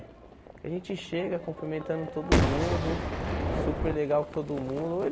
A gente chega cumprimentando todo mundo, super legal com todo mundo.